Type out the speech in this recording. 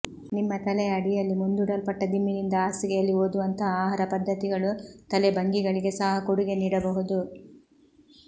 ನಿಮ್ಮ ತಲೆಯ ಅಡಿಯಲ್ಲಿ ಮುಂದೂಡಲ್ಪಟ್ಟ ದಿಂಬಿನಿಂದ ಹಾಸಿಗೆಯಲ್ಲಿ ಓದುವಂತಹ ಆಹಾರ ಪದ್ಧತಿಗಳು ತಲೆ ಭಂಗಿಗಳಿಗೆ ಸಹ ಕೊಡುಗೆ ನೀಡಬಹುದು